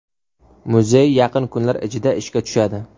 Muzey yaqin kunlar ichida ishga tushadi.